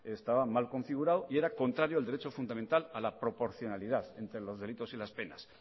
estaba mal configurado y era contrario al derecho fundamental a la proporcionalidad entre los delitos y las penas